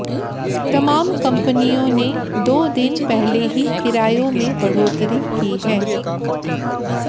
तमाम कंपनियों ने दो दिन पहले ही किरायों में बढ़ोतरी की है